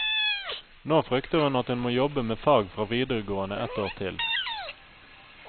Nå frykter hun at hun må jobbe med fag fra videregående ett år til.